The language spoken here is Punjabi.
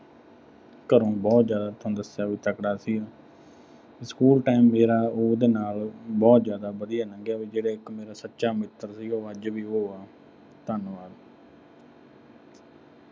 ਘਰੋਂ ਬਹੁਤ ਜ਼ਿਆਦਾ ਤੁਹਾਨੂੰ ਦੱਸਿਆ ਵੀ ਤਕੜਾ ਸੀਗਾ school time ਜਿਹੜਾ, ਉਹਦੇ ਨਾਲ ਬਹੁਤ ਜ਼ਿਆਦਾ ਵਧੀਆ ਲੰਘਿਆ ਤੇ ਜਿਹੜਾ ਮੇਰਾ ਇੱਕ ਸੱਚਾ ਮਿੱਤਰ ਸੀਗਾ, ਉਹ ਅੱਜ ਵੀ ਉਹੀ ਆ। ਧੰਨਵਾਦ।